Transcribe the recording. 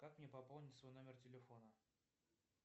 как мне пополнить свой номер телефона